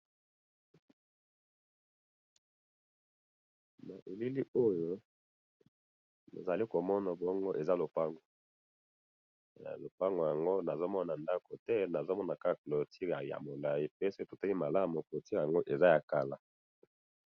Na elili Oyo, nazali komona bongo Eza lopango. Lopango ango nazoMona ndako te, nazomona Kaka clôture ya molayi, pe soki totali bien, clôture ango Eza ya kala.